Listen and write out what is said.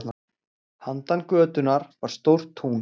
Handan götunnar var stórt tún.